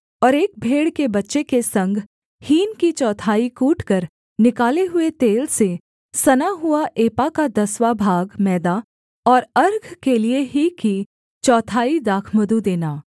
और एक भेड़ के बच्चे के संग हीन की चौथाई कूटकर निकाले हुए तेल से सना हुआ एपा का दसवाँ भाग मैदा और अर्घ के लिये ही की चौथाई दाखमधु देना